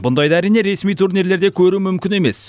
бұндайды әрине ресми турнирлерде көру мүмкін емес